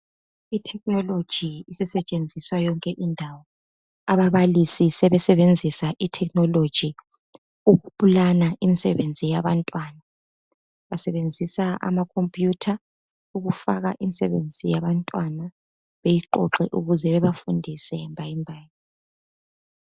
I technology isetshenziswa yonke indawo. Ababalisi sebesebenzisa I technology. Ababalisi sebesebenzisa I technology ukuplana imisebenzi yabantwana. Basebenzisa ama computer ukufaka imisebenzi yabantwana beyiqoqe ukuze bebafundise mbayimbayi